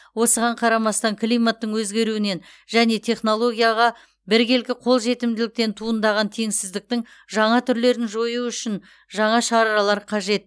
осыған қарамастан климаттың өзгеруінен және технологияға біркелкі қол жетімділіктен туындаған теңсіздіктің жаңа түрлерін жою үшін жаңа шаралар қажет